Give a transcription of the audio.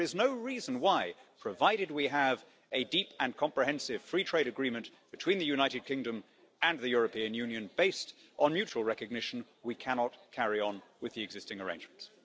There is no reason why, provided we have a deep and comprehensive free trade agreement between the United Kingdom and the European Union based on mutual recognition, we cannot carry on with the existing arrangements.